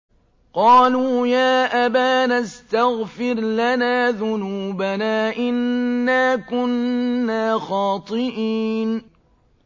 قَالُوا يَا أَبَانَا اسْتَغْفِرْ لَنَا ذُنُوبَنَا إِنَّا كُنَّا خَاطِئِينَ